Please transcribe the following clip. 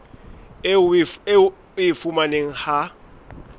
eo o e fumanang ha